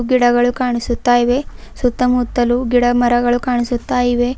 ಗಿಡಗಳು ಕಾಣಿಸುತ್ತಾ ಇವೆ ಸುತ್ತಮುತ್ತಲೂ ಗಿಡ ಮರಗಳು ಕಾಣಿಸುತ್ತಾ ಇವೆ.